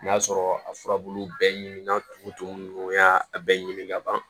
N'a sɔrɔ a furabulu bɛɛ ɲiminna tumu tumu ninnu y'a bɛɛ ɲimi ka ban